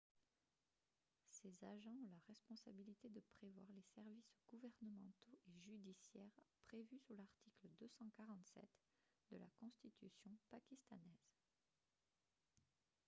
ces agents ont la responsabilité de prévoir les services gouvernementaux et judiciaires prévus sous l'article 247 de la constitution pakistanaise